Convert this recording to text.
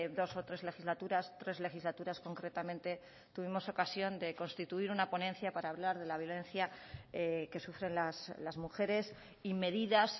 dos o tres legislaturas tres legislaturas concretamente tuvimos ocasión de constituir una ponencia para hablar de la violencia que sufren las mujeres y medidas